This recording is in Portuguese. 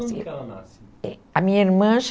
e quando ela nasce? É, a minha irmã